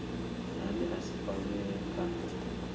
ane a si kwamee kha